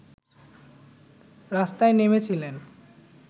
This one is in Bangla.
রাস্তায় নেমেছিলেন